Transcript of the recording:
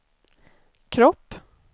kropp